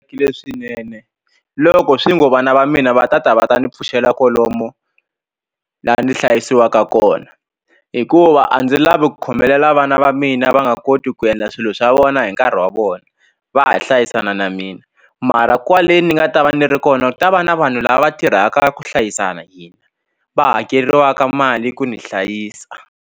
Leswinene loko swi ngo vana va mina va tata va ta ni pfuxela kwalomu la ni hlayisiwaka kona hikuva a ndzi lavi ku khomelela vana va mina va nga koti ku endla swilo swa vona hi nkarhi wa vona va ha hlayisana na mina mara kwale ni nga ta va ni ri kona ku ta va na vanhu lava tirhaka ku hlayisana hina va hakeriwaka mali ku ni hlayisa.